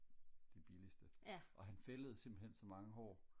det billigeste og han fældede simpelthen så mange hår